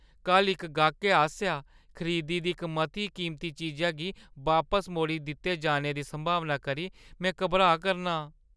कल्ल इक गाह्कै आसेआ खरीदी दी इक मती कीमती चीजा गी बापस मोड़ी दित्ते जाने दी संभावना करी में घबराऽ करनां ।